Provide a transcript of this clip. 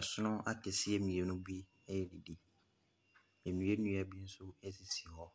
Asono akɛseɛ mmienu bi redidi. Nnua nnua bi nso sisi hɔ.